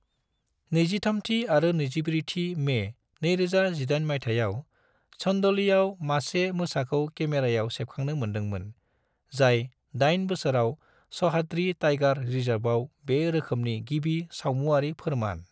23थि आरो 24थि मे 2018 मायथाइयाव, चंदोलीआव मासे मोसाखौ केमेरायाव सेबखांनो मोनदों मोन, जाय 8 बोसोराव सह्याद्री टाइगर रिजर्वआव बे रोखोमनि गिबि सावमुआरि फोरमान।